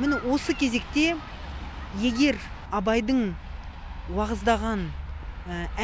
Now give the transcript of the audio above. міні осы кезекте егер абайдың уағыздаған